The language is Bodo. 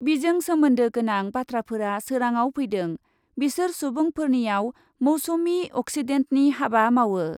बिजों सोमोन्दो गोनां बाथ्राफोरा सोराङाव फैदों, बिसोर सुबुंफोरनियाव मौसुमि अक्सिडेन्टनि हाबा मावो ।